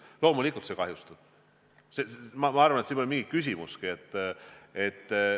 Loomulikult see kahjustab suhteid, ma arvan, et siin pole mingit küsimust.